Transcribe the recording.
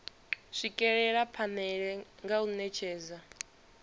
swikelela phanele nga u netshedza